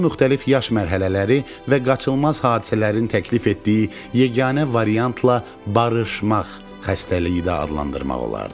Bunu müxtəlif yaş mərhələləri və qaçılmaz hadisələrin təklif etdiyi yeganə variantla barışmaq xəstəliyi də adlandırmaq olardı.